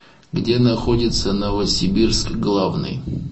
где находится новосибирск главный